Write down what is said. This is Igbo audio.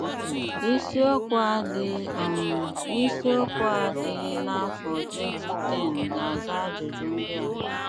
Ísíokwu á dị́ um n’ísíokwu dí n’àfọ́ 2010 gà-àzà ájụjụ ndí à.